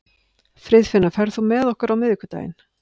Friðfinna, ferð þú með okkur á miðvikudaginn?